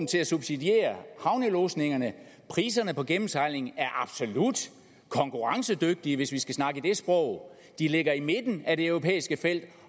til at subsidiere havnelodsningerne priserne på gennemsejling er absolut konkurrencedygtige hvis vi skal snakke i det sprog de ligger i midten af det europæiske felt